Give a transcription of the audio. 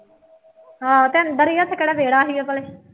ਆਹੋ ਅਤੇ ਅੰਦਰ ਹੀ ਹੈ ਅਤੇ ਕਿਹੜਾਂ ਵਿਹੜਾ ਸੀ ਉਹਦੇ ਕੋਲੇ